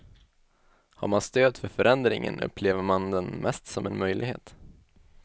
Har man stöd för förändringen upplever man den mest som en möjlighet.